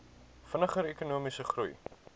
vinniger ekonomiese groei